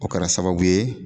O kɛra sababu ye